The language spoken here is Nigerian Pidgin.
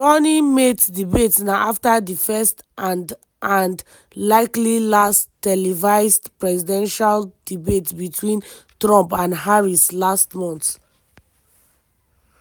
di running mates debate na afta di first - and and likely last - televised presidential debate betwin trump and harris last month.